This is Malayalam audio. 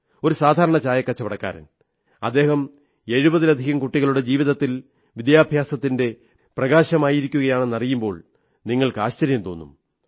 ഒരു സാധാരണ ചായക്കച്ചവടക്കാരൻ അദ്ദേഹം എഴുപതിലധികം കുട്ടികളുടെ ജീവിതത്തിൽ വിദ്യാഭ്യാസത്തിന്റെ പ്രകാശമായിരിക്കുകയാണെന്നറിയുമ്പോൾ നിങ്ങൾക്ക് ആശ്ചര്യം തോന്നും